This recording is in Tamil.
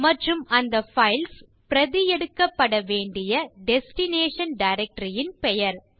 மற்றும் அந்த பைல்ஸ் பிரதி எடுக்கப்படவேண்டிய டெஸ்டினேஷன் டைரக்டரி ன் பெயர்